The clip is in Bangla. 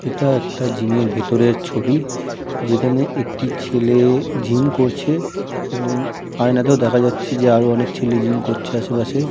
এটা একটা জিমের ভেতরের ছবি যেখানে একটি ছেলে জিম করছে এবং আয়নাতেও দেখা যাচ্ছে যে আরো অনেক ছেলে জিম করছে আশেপাশে ।